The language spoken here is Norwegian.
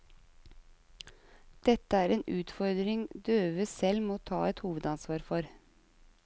Dette er en utfordring døve selv må ta et hovedansvar for.